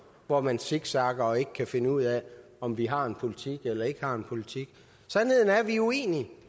hvor man zigzagger og ikke kan finde ud af om vi har en politik eller ikke har en politik sandheden er at vi er uenige